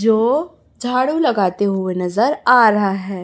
जो झाड़ू लगाते हुए नजर आ रहा है।